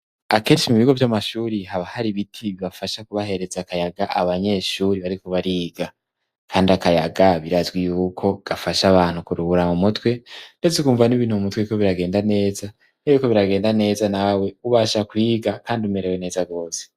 Akenshi mu bigo vy'amashuri haba hari biti bibafasha kubahereza akayaga abanyeshuri bariko bariga, kandi akayaga birazwi yuko gafasha abantu kuruhura mu mutwe, ndetse kumva n'ibintu m'umutwe biriko biragenda neza ,biriko biragenda neza nawe ubasha kwiga kandi umerewe neza gose.